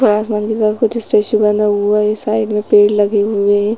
पारस मंदिर का कुछ स्टैचू बना हुआ है इस साइड में पेड़ लगे हुए हैं।